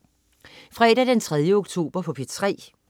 Fredag den 3. oktober - P3: